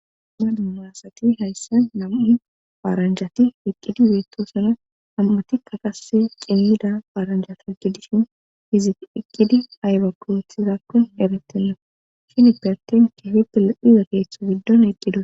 Maduumaasati hayssa nam'u baaranjati iqqidi beettosuna ham'atikka qase qimmida baaranjati gidishin hizit iqqidi ayba kuthizakkon erettenno shini pe attin kihippe leiza keeththo giddon eqqidu.